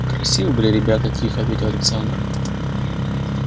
красивые были ребята тихо ответила александра